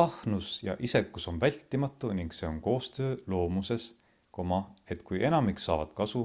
ahnus ja isekus on vältimatu ning see on koostöö loomuses et kui enamik saavad kasu